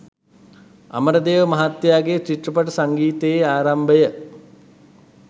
අමරදේව මහත්තයාගේ චිත්‍රපට සංගීතයේ ආරම්භය